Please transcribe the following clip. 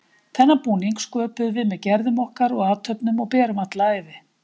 Þennan búning sköpum við með gerðum okkar og athöfnum og berum alla ævi.